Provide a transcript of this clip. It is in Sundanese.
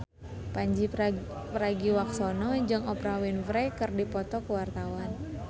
Pandji Pragiwaksono jeung Oprah Winfrey keur dipoto ku wartawan